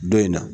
Don in na